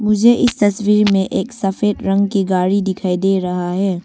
मुझे इस तस्वीर में एक सफेद रंग की गाड़ी दिखाई दे रहा है।